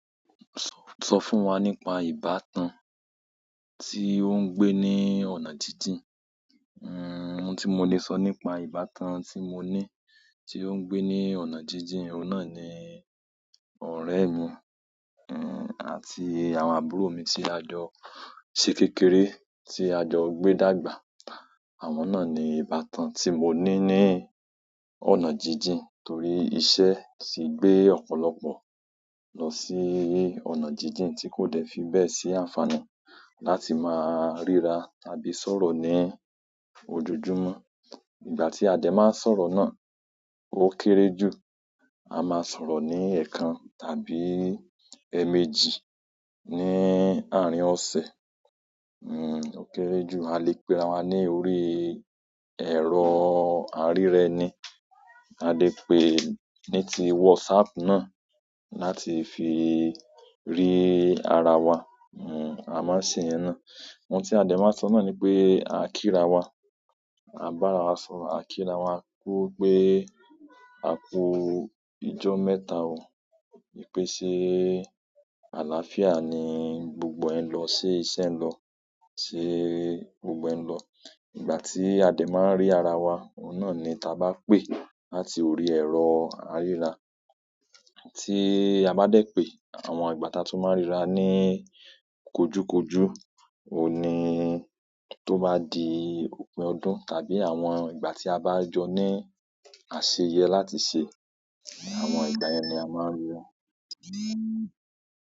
Sọ fún wa nípa ìbátan tí ó ń gbé ní ọ̀nà jíjìn. Oun tí mo lè sọ nípa ìbátan tí mo ní, tí ó ń gbé ní ọ̀nà jíjìn, òun náà ni ọ̀rẹ́ mi, àti àwọn àbúrò mi tí a jọ ṣe kékeré. Àwọn náà ni ìbátan tí mo ní ní ọ̀nà jíjìn torí iṣẹ́ ti gbé ọ̀pọ̀lọpọ̀ lọ sí ọ̀nà jíjìn tí kò dẹ̀ fi bẹ́ẹ̀ sí àǹfààní láti máa ríra tàbí sọ̀rọ̀ ní ojoojúmọ́. Ìgbà tí a dẹ̀ màa ń sọ̀rọ̀ náà, ó kéré jù, a máa sọ̀rọ̀ ní ẹ̀ẹ̀kan tàbí ẹ̀ẹ̀mejì ní àárín ọ̀sẹ̀ ó kéré jù, a lè pe'ra wa ní orí ẹ̀rọ aríra ẹni. A lè pè ní ti WhatsApp náà láti fi rí ara wa. A máa ń ṣè'yẹn náà. Oun tí a dẹ̀ máa ń sọ náà ni pé, a kí'ra wa, a bá'ra wa sọ̀rọ̀, a kí'ra wa kú wípé, akú ijọ́ mẹ́ta oo, wípé ṣé àlááfíà ni gbogbo ẹ̀ ń lọ, ṣé iṣẹ́ ń lọ, ṣé gbogbo ẹ̀ ń lọ. Ìgbà tí a dẹ́ máa ń rí ara wa, òun náà ni t'abá pè láti orí ẹ̀rọ aríra. Tí a bá dẹ̀ pé, àwọn ìgbà t'a tún máa ń ríra ní kojúkojú, òun ni t'ó bá di òpin ọdún tàbí àwọn ìgbà tí a bá jọ ní àṣeyẹ láti ṣe, àwọn ìgbà yẹn ni a máa ń ríra.